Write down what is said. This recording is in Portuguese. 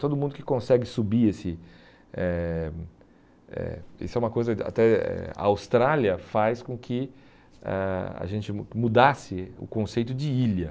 Todo mundo que consegue subir esse... eh eh Isso é uma coisa até... A Austrália faz com que ãh a gente mu mudasse o conceito de ilha.